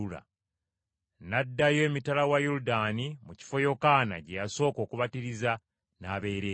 N’addayo emitala wa Yoludaani mu kifo Yokaana gye yasooka okubatiriza, n’abeera eyo.